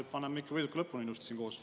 Paneme ikka võiduka lõpuni välja siin koos.